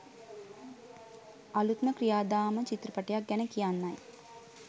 අලුත්ම ක්‍රියාදාම චිත්‍රපටියක් ගැන කියන්නයි.